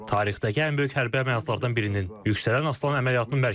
Tarixdəki ən böyük hərbi əməliyyatlardan birinin, Yüksələn Aslan əməliyyatının mərkəzindəyik.